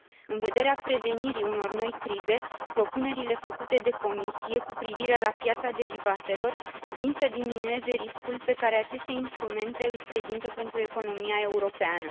În vederea prevenirii unor noi crize, propunerile făcute de Comisie cu privire la piața derivatelor vin să diminueze riscul pe care aceste instrumente îl prezintă pentru economia europeană.